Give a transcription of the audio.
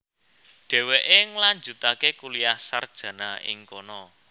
Dhéwéké ngelanjutaké kuliah sarjana ing kono